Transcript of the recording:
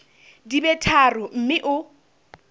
di be tharo mme o